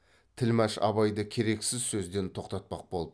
тілмәш абайды керексіз сөзден тоқтатпақ болып